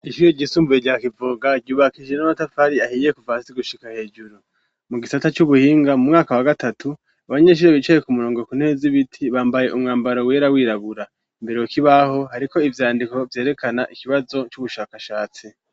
Ishure ryisumbuye rya kivoga ryubakishije n'amatafari ahiye kuva hasi gushika hejuru. Mu gisata c'ubuhinga mu mwaka wa gatatu , abanyeshure bicaye ku murongo ku ntebe z' ibiti bambaye umwambaro wera wirabura . Imbere ku kibaho hariko ivyandiko vyerekana ikibazo c'ubushakashatsi.